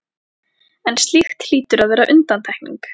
en slíkt hlýtur að vera undantekning.